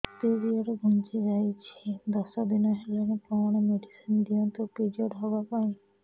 period ଘୁଞ୍ଚି ଯାଇଛି ଦଶ ଦିନ ହେଲାଣି କଅଣ ମେଡିସିନ ଦିଅନ୍ତୁ ପିରିଅଡ଼ ହଵା ପାଈଁ